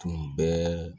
Tun bɛ